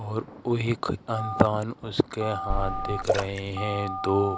और ओ एक उसके हाथ देख रहे हैं दो।